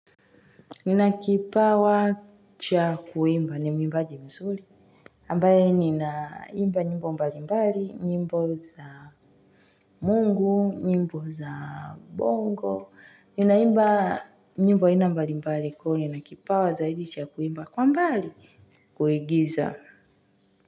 Nina kipawa cha kuimba ni mwimbaji mzuri. Ambaye ninaimba nyimbo mbali mbali, nyimbo za mungu, nyimbo za bongo. Ninaimba nyimbo aina mbalimbali kwa hivyo nina kipawa zaidi cha kuimba, kwa mbali, kuigiza.